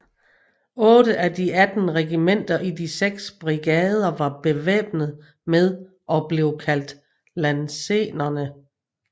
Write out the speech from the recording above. Otte af de atten regimenter i de seks brigader var bevæbnet med og blev kaldt lansenerer